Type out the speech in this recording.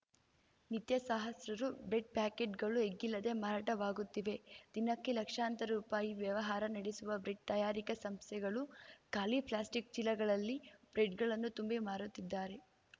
ನಿತ್ಯ ಸಹಸ್ರಾರು ಬ್ರೆಡ್‌ ಪ್ಯಾಕೆಟ್‌ಗಳು ಎಗ್ಗಿಲ್ಲದೇ ಮಾರಾಟವಾಗುತ್ತಿವೆ ದಿನಕ್ಕೆ ಲಕ್ಷಾಂತರ ರುಪಾಯಿ ವ್ಯವಹಾರ ನಡೆಸುವ ಬ್ರೆಡ್‌ ತಯಾರಿಕಾ ಸಂಸ್ಥೆಗಳು ಖಾಲಿ ಪ್ಲಾಸ್ಟಿಕ್‌ ಚೀಲಗಳಲ್ಲಿ ಬ್ರೆಡ್‌ಗಳನ್ನು ತುಂಬಿ ಮಾರುತ್ತಿದ್ದಾರೆ